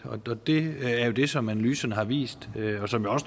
det er jo det som analysen har vist